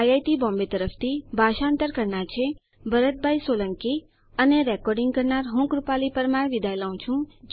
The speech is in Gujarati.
આઇઆઇટી બોમ્બે તરફથી ભાષાંતર કરનાર હું ભરત સોલંકી વિદાય લઉં છું